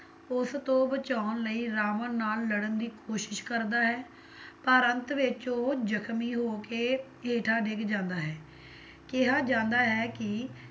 ਉਸਤੋਂ ਬਚਾਉਣ ਲਈ ਰਾਵਣ ਨਾਲ ਲੜਨ ਦੀ ਕੋਸ਼ਿਸ਼ ਕਰਦਾ ਹੈ, ਪਰ ਅੰਤ ਵਿੱਚ ਉਹ ਜਖ਼ਮੀ ਹੋਕੇ ਹੇਠਾਂ ਡਿੱਗ ਜਾਂਦਾ ਹੈ ਕਿਹਾ ਜਾਂਦਾ ਹੈ ਕੀ